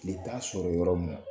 Tile t'a sɔrɔ yɔrɔ mun